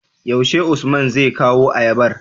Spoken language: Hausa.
yaushe usman zai kawo ayabar?